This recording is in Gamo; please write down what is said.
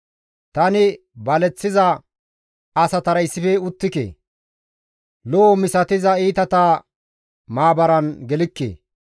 Tani baleththiza asatara issife uttike; lo7o misatiza iitata maabaran gelikke.